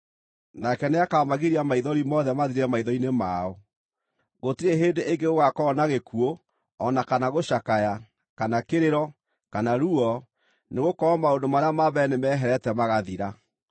Nake nĩakamagiria maithori mothe mathire maitho-inĩ mao. Gũtirĩ hĩndĩ ĩngĩ gũgaakorwo na gĩkuũ, o na kana gũcakaya, kana kĩrĩro, kana ruo, nĩgũkorwo maũndũ marĩa ma mbere nĩmeherete magathira.”